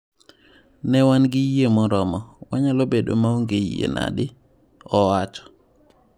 Ne wan gi yie moromo, wanyalo bedo maonge yie nadi?," owacho.